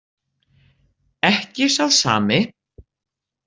Ekki sá sami?